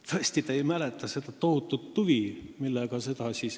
Tõesti, kas te ei mäleta seda tohutut huvi?